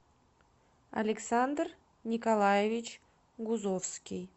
александр николаевич гузовский